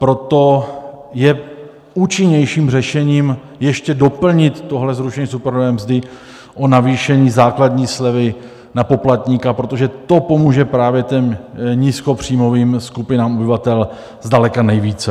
Proto je účinnějším řešením ještě doplnit tohle zrušení superhrubé mzdy o navýšení základní slevy na poplatníka, protože to pomůže právě těm nízkopříjmovým skupinám obyvatel zdaleka nejvíce.